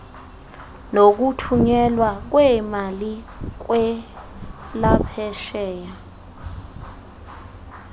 nokuthunyelwa kweemali kwelaphesheya